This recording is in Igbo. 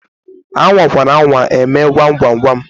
A nwakwara anwa eme gwam gwam gwam!